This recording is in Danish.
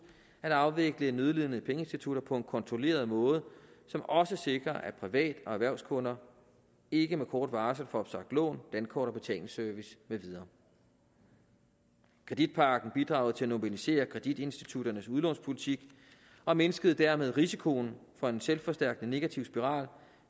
at afvikle nødlidende pengeinstitutter på en kontrolleret måde som også sikrer at privat og erhvervskunder ikke med kort varsel får opsagt lån dankort og betalingsservice med videre kreditpakken bidrog til at normalisere kreditinstitutternes udlånspolitik og mindskede dermed risikoen for en selvforstærkende negativ spiral